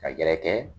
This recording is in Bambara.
Ka gɛrɛ